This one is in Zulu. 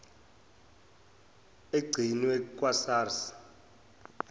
egcinwe kwa sars